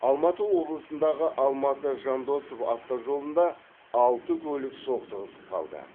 алматы облысындағы алматы жандосов автожолында алты көлік соқтығысып қалды